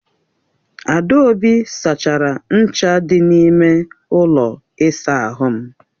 Adaobi sachara ncha dị n'ime ụlọ ịsa ahụ m.